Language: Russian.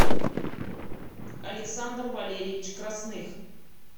александр валерьевич красных